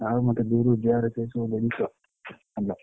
ଆଉ ମତେ ଦୁରୁଜୁହାର ସେସବୁ ଜିନିଷ hello ।